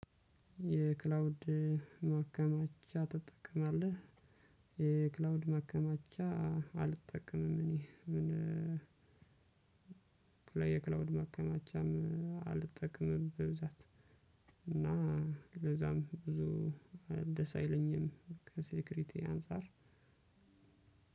የክላውድ ማከማቻ ትጠቀማለህ? የክላውድ ማከማቻ አልጠቀምም። እኔ ምን በተለይ የክላውድ ማቀማቻም አልጠቀምም በብዛት። እና ለዛም ብዙ እ ደስ አይለኝም። ከሴክውሪቲ አንፃር